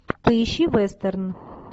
поищи вестерн